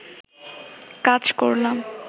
কাজ করলাম